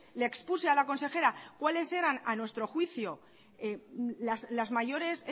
le expuse a la consejera cuáles era a nuestro juicio las mayores